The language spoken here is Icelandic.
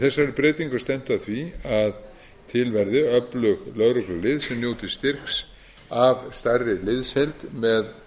þessari breytingu er stefnt að því að til verði öflug lögreglulið sem njóti styrks af stærri liðsheild með